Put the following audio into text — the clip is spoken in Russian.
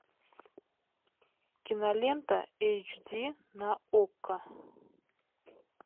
кинолента эйч ди на окко